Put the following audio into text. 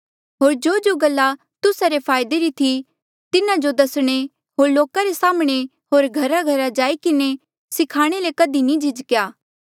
होर जोजो गल्ला तुस्सा रे फायदे री ई थी तिन्हा जो दसणे होर लोका रे साम्हणें होर घराघरा जाई किन्हें सिखाणे ले कधी नी झिझ्केया